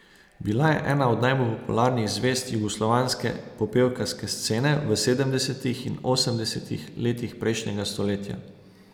Bila je ena od najbolj popularnih zvezd jugoslovanske popevkarske scene v sedemdesetih in osemdesetih letih prejšnjega stoletja.